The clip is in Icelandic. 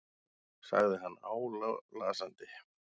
sagði hann álasandi.